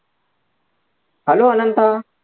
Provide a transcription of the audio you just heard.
Hello Ananta